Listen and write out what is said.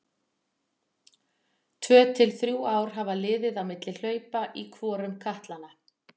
Tvö til þrjú ár hafa liðið á milli hlaupa í hvorum katlanna.